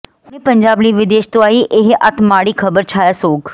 ਹੁਣੇ ਪੰਜਾਬ ਲਈ ਵਿਦੇਸ਼ ਤੋਂ ਆਈ ਇਹ ਅੱਤ ਮਾੜੀ ਖਬਰ ਛਾਇਆ ਸੋਗ